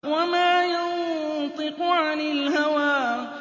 وَمَا يَنطِقُ عَنِ الْهَوَىٰ